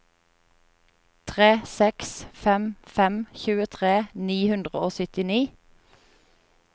tre seks fem fem tjuetre ni hundre og syttini